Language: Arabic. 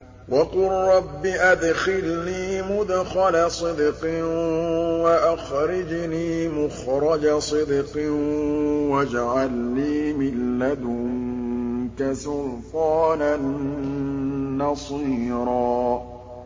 وَقُل رَّبِّ أَدْخِلْنِي مُدْخَلَ صِدْقٍ وَأَخْرِجْنِي مُخْرَجَ صِدْقٍ وَاجْعَل لِّي مِن لَّدُنكَ سُلْطَانًا نَّصِيرًا